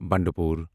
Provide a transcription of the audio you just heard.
بنڈٕ پور